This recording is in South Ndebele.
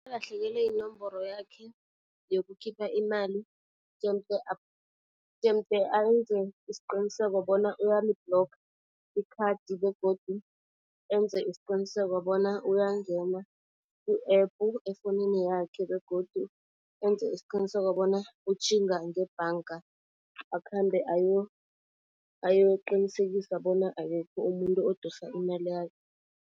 Nakalahlekelwe yinomboro yakhe yokukhipha imali jemde jemude ayenze isiqiniseko bona uyali-blocker ikhadi begodu enze isiqiniseko bona uyangena ku-app efowunini yakhe. Begodu enze isiqiniseko bona utjhinga ngebhanga akhambe ayokuqinisekisa bona akekho umuntu odosa imali yakhe.